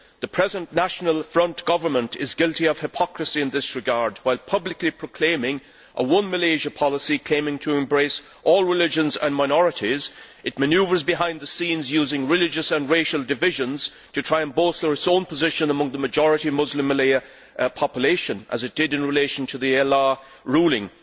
The present National Front government is guilty of hypocrisy in this regard while publicly proclaiming a One Malaysia' policy claiming to embrace all religions and minorities, it manoeuvres behind the scenes, using religious and racial divisions to try and bolster its own position among the majority Muslim Malay population, as it did in relation to the Allah' ruling.